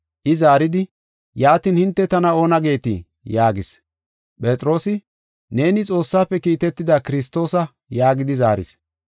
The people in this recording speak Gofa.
I zaaridi, “Yaatin hinte tana oona geetii?” yaagis. Phexroosi, “Neeni Xoossaafe kiitetida Kiristoosa” yaagidi zaaris.